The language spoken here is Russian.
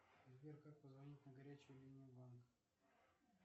сбер как позвонить на горячую линию банка